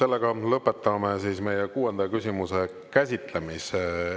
Sellega lõpetame kuuenda küsimuse käsitlemise.